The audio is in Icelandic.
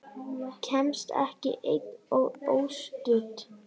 Kemst ekki ein og óstudd!